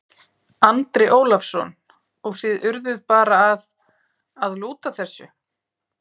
Andri Ólafsson: Og þið urðuð bara að, að lúta þessu?